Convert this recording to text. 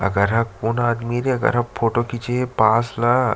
अगर ह कोन आदमी ये रे अगर ह फोटो खींचे हे पास ला--